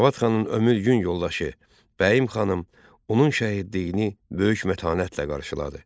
Cavad xanın ömür-gün yoldaşı Bəyim xanım onun şəhidliyini böyük mətanətlə qarşıladı.